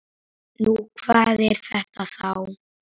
Nú, hvað er þetta þá?